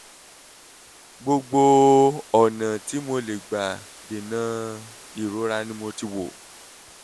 gbogbo ọ̀nà tí mo lè gbà dènà ìrora ni mo ti wò: p